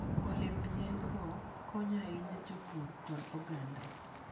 Olemb yien - go konyo ahinya jopur koda oganda.